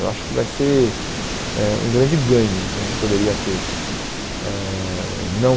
Eu acho que vai ser eh um grande ganho que a gente poderia ter. Eh não